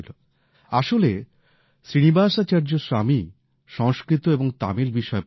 আসলে শ্রীনিবাসাচার্য স্বামী সংস্কৃত এবং তামিল বিষয়ে পন্ডিত